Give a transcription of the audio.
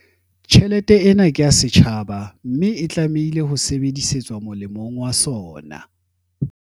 Tjhelete ena ke ya setjhaba, mme e tlameha ho sebedisetswa molemong wa sona.